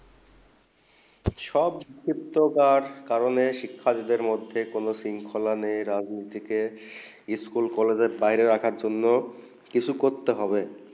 সব ষ্ট্ৰেকাৰ কারণ শিক্ষা দিকের মদদে কোনো শ্রীখোলা নেই রাজনীতিকে স্কুল কলেজ বাইরে রাখা জন্য কিছু করতে হবে